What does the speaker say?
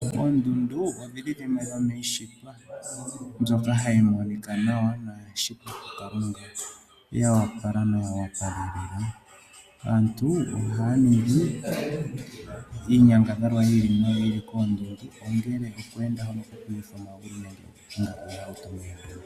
Oondundu odhili dhimwe dhomiishitwa mbyoka hayi monika nawa noya shitwa kuKalunga, ya wapala noya wapalelela. Aantu ohaya ningi iinyangadhalwa yi ili noyi ili koondundu ongele okweenda noku utha omagulu.